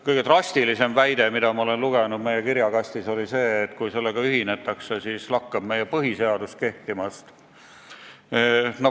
Kõige drastilisem väide, mida ma olen meie kirjakastist lugenud, on see, et kui sellega ühinetakse, siis lakkab meie põhiseadus kehtimast.